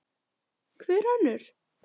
Hver önnur?